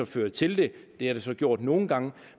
fører til det det har det så gjort nogle gange